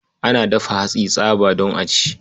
Ana dafa hatsi tsaba don a ci.